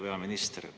Hea peaminister!